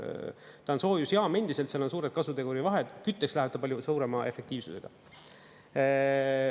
Ta on soojusjaam endiselt, seal on suured kasuteguri vahed, kütteks läheb ta palju suurema efektiivsusega.